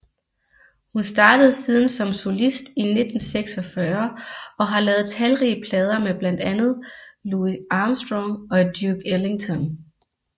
Hun startede siden som solist i 1946 og har lavet talrige plader med blandt andet Louis Armstrong og Duke Ellington